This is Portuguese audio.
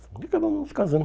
E acabamos nos casando.